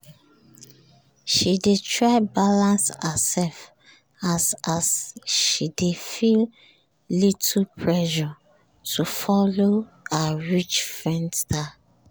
she dey try balance herself as as she dey feel little pressure to follow her rich friend style